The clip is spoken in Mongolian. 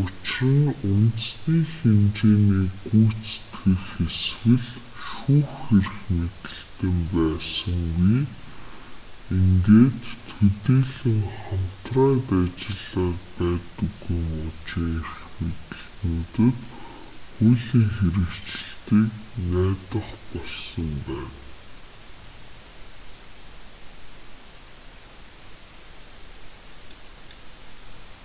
учир нь үндэсний хэмжээний гүйцэтгэх эсвэл шүүх эрх мэдэлтэн байсангүй ингээд төдийлөн хамтран ажиллаад байдаггүй мужийн эрх мэдэлтнүүдэд хуулийн хэрэгжилтийг найдах болсон байна